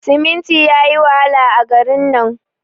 siminti yayi wahala a garin nan